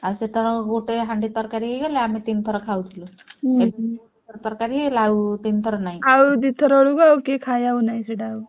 ଆଉ ସେତେବେଳକୁ ଗୋଟେ ହାଣ୍ଡି ତରକାରୀ ହେଇଗଲେ ଆମେ ତିନିଥର ଖାଉଥିଲୁ। ଆଉ ତିନିଥର ନାଇଁ